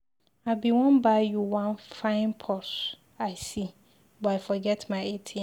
I bin wan buy You wan fine purse I see, but I forget my atm.